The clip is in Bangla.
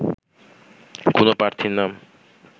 কোনো প্রার্থীর নাম